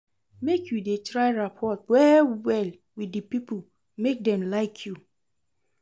Make you dey try rapport well-well wit di pipo make dem like you.